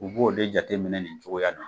U b'o de jateminɛ ni cogoya in na.